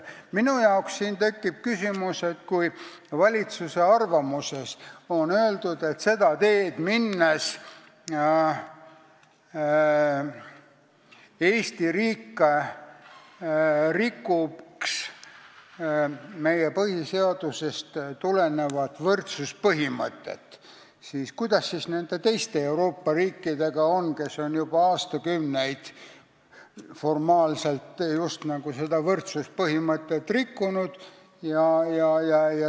Minu jaoks tekib siin küsimus: kui valitsuse arvamuses on öeldud, et seda teed minnes rikuks Eesti riik meie põhiseadusest tulenevat võrdsuspõhimõtet, kuidas on siis nende teiste Euroopa riikidega, kes on juba aastakümneid formaalselt seda võrdsuspõhimõtet rikkunud?